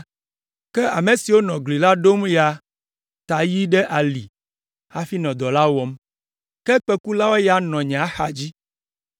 Ke ame siwo nɔ gli la ɖom ya ta yi ɖe ali hafi nɔ dɔ la wɔm. Ke kpẽkula ya nɔ nye axadzi.